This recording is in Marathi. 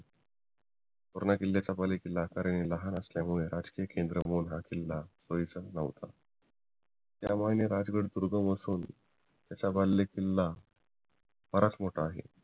तोरणा किल्ल्याचा बालेकिल्ला आकाराने लहान असल्यामुळे हा किल्ला भविष्यात न्हवता त्यामुळे राजगड त्याचा बालेकिल्ला बराच मोठा आहे